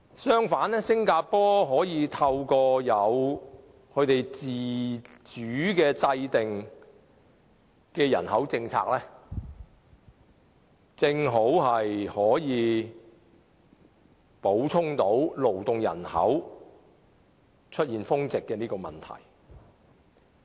相反，新加坡可以透過自主制訂的人口政策以作補充，解決勞動人口出現峰值的問題。